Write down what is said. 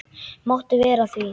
Máttu vera að því?